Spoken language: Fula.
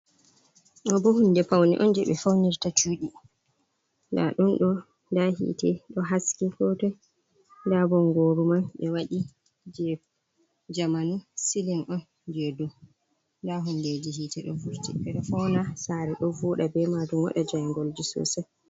Ɗobo hunde paune on je ɓe faunirta cuɗi nddun do nda hite ɗo haski hotoi nda bongoru man ɓe waɗi je jamanu siling on je du nda hundeji hite ɗo furti pele fauna sare ɗo fuɗa be majum wada jangolji sosai.